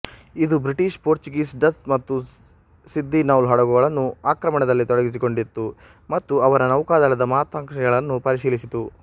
ಇದು British Portuguese Dutch ಮತ್ತು ಸಿದ್ದಿ ನೌಲ್ ಹಡಗುಗಳನ್ನು ಆಕ್ರಮಣದಲ್ಲಿ ತೊಡಗಿಸಿಕೊಂಡಿತ್ತು ಮತ್ತು ಅವರ ನೌಕಾದಳದ ಮಹತ್ವಾಕಾಂಕ್ಷೆಗಳನ್ನು ಪರಿಶೀಲಿಸಿತು